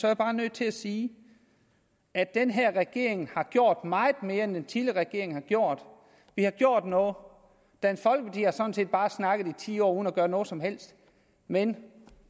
jeg bare nødt til at sige at den her regering har gjort meget mere end den tidligere regering har gjort vi har gjort noget dansk folkeparti har sådan set bare snakket i ti år uden at gøre noget som helst men